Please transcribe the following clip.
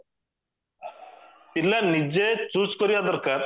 ପିଲା ନିଜେ choose କରିବା ଦରକାର